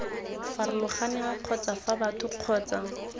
farologaneng kgotsa fa batho kgotsa